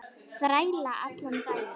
Þræla allan daginn!